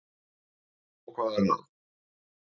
Og hvað er að?